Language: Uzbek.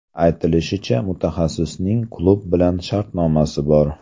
Aytilishicha, mutaxassisning klub bilan shartnomasi bor.